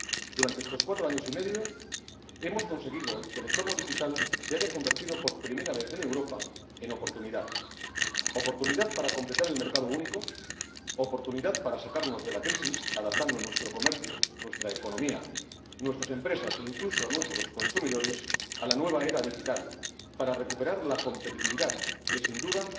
Durante estos cuatro años y medio hemos conseguido que el entorno digital se haya convertido, por primera vez en Europa, en oportunidad oportunidad para completar el mercado único, oportunidad para sacarnos de la crisis, adaptando nuestro comercio, nuestra economía, nuestras empresas e, incluso, a nuestros consumidores, a la nueva era digital, para recuperar la competitividad, que, sin duda,